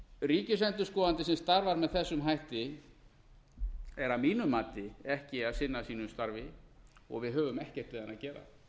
ríkisendurskoðandi sem starfar með þessum hætti er að mínu mati ekki að finna að sínu starfi og við höfum ekkert við hann að gera